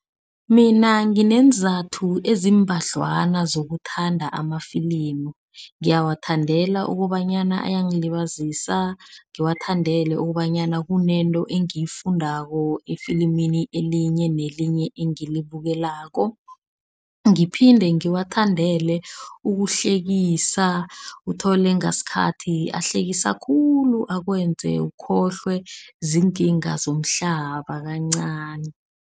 Mina ngineenzathu eziimbadlwana zokuthanda amafilimu. Ngiwathandalela ukobanyana ayangilibazisa, ngiwathandele ukobanyana kunento engiyifundako efilimini elinye nelinye engilibukelako. Ngiphinde ngiwathandele ukuhlekisana. Uthole ngasikhathi ahlekisa khulu akwenze ukhohlwe ziinkinga zomhlaba kancani.